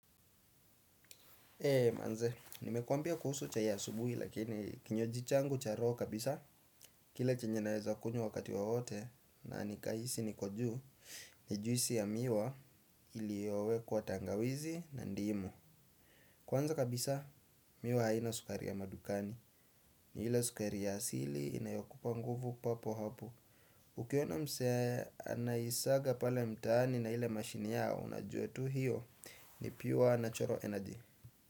Manze, nimekwambia kuhusu chai ya asubuhi lakini kinywaji changu cha roho kabisa. Kile chenye naezakunywa wakati wowote na nikahisi ni kujuu. Ni juisi ya miwa iliyowekwa tangawizi na ndimu. Kwanza kabisa, miwa haina sukari ya madukani. Ni ile sukari ya asili inayokupa nguvu papo hapo. Ukiona mse, anaisaga pale mtaani na ile mashini yao. Unajua tu hiyo ni pure natural energy.